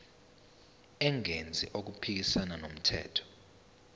engenzi okuphikisana nomthetho